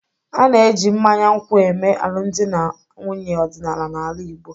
A na-eji mmanya nkwụ eme alụmdi na nwunye ọdịnala n'ala Igbo